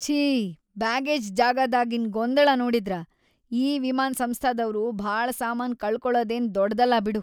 ಛೀ ಬ್ಯಾಗೇಜ್‌ ಜಾಗಾದಾಗಿನ್‌ ಗೊಂದಳ ನೋಡಿದ್ರ, ಈ ವಿಮಾನ್‌ ಸಂಸ್ಥಾದವ್ರು ಭಾಳ ಸಾಮಾನ್ ಕಳಕೊಳದೇನ್‌ ದೊಡದಲ್ಲ ಬಿಡು.